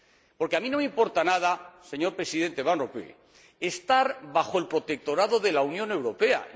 Porque a mí no me importa nada, señor Presidente Van Rompuy, estar bajo el protectorado de la Unión Europea.